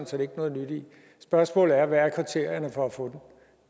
set ikke noget nyt i spørgsmålet er hvad der er kriterierne for at få den